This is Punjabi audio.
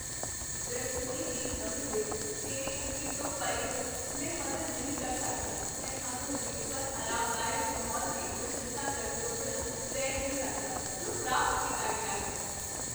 ਰਸੋਈ ਦੀ ਨਵੀਂ ਦਿੱਖ ਮੇਰੀ ਉਮੀਦ ਤੋਂ ਪਰੇ ਹੈ, ਮੈਂ ਮਦਦ ਨਹੀਂ ਕਰ ਸਕਦਾ ਮੈਂ ਆਧੁਨਿਕ ਪਰ ਆਰਾਮਦਾਇਕ ਮਾਹੌਲ ਦੀ ਪ੍ਰਸ਼ੰਸਾ ਕਰਨ ਤੋਂ ਬਿਨਾਂ ਰਹਿ ਨਹੀਂ ਸਕਦਾ ਜੋ ਪ੍ਰਾਪਤ ਕੀਤਾ ਗਿਆ ਹੈ।